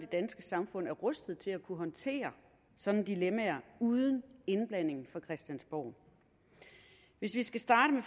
danske samfund er rustet til at kunne håndtere sådanne dilemmaer uden indblanding fra christiansborg hvis vi skal starte